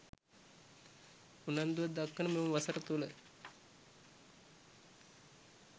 උනන්දුවක් දක්වන මෙම වසර තුළ